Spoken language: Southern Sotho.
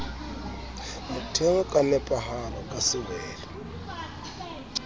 motheo ka nepahalo ka sewelo